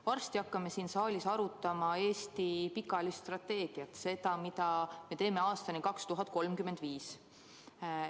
Varsti hakkame siin saalis arutama Eesti pikaajalist strateegiat, seda, mida me teeme aastani 2035.